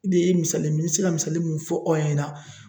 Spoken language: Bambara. O de ye misali ye ni bi se ka misali min fɔ aw ɲɛna.